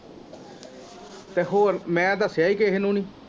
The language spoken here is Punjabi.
ਤੇ ਹੋਰ ਮੈ ਦਸਿਆ ਈ ਕਿਹੇ ਨੂੰ ਨੀ।